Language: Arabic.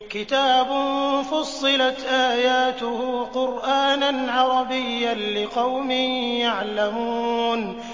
كِتَابٌ فُصِّلَتْ آيَاتُهُ قُرْآنًا عَرَبِيًّا لِّقَوْمٍ يَعْلَمُونَ